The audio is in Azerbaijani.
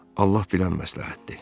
Allah bilən məsləhətdir.